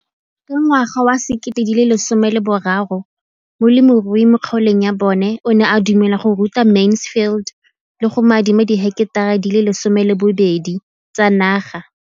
Ka ngwaga wa 2013, molemirui mo kgaolong ya bona o ne a dumela go ruta Mansfield le go mo adima di heketara di le 12 tsa naga.